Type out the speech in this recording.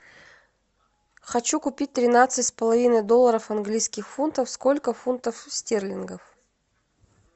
хочу купить тринадцать с половиной долларов английских фунтов сколько фунтов стерлингов